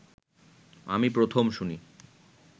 আমি প্রথম শুনি